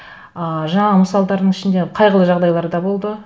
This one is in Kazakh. ы жаңағы мысалдардың ішінде қайғылы жағдайлар да болды